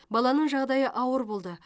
баланың жағдайы ауыр болды